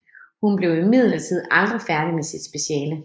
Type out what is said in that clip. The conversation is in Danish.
Hun blev imidlertid aldrig færdig med sit speciale